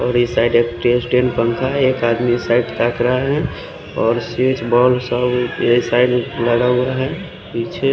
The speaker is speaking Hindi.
और इस साईट एक टेन स्टेन पंखा है एक आदमी साइड ताकरा है और स्विच बोर्ड सब ये साइड लगा हुआ है पीछे--